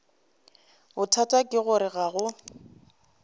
bothata ke gore ga go